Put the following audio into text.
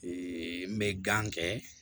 n bɛ gan kɛ